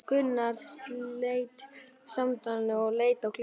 Gunnar sleit samtalinu og leit á klukkuna.